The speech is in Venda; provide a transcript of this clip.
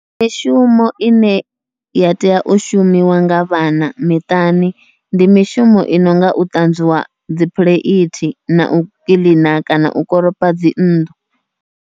Mishumo ine ya tea u shumiwa nga vhana miṱani, ndi mishumo i nonga u ṱanzwiwa dzi phuleithi nau kiḽina kana u koropa dzi nnḓu.